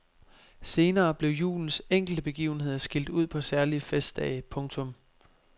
Senere blev julens enkelte begivenheder skilt ud på særlige festdage. punktum